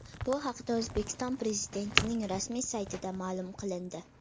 Bu haqda O‘zbekiston Prezidentining rasmiy saytida ma’lum qilindi .